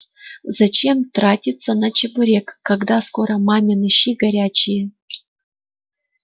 зачем тратиться на чебурек когда скоро мамины щи горячие